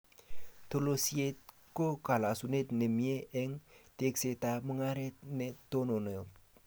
Tolosiet ko kolosunet ne mie eng teeksetab mungaret ne tononot